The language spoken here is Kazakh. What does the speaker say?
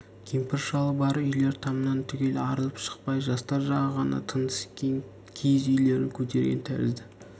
кемпір-шалы бар үйлер тамнан түгел арылып шықпай жастар жағы ғана тынысы кең киіз үйлерін көтерген тәрізді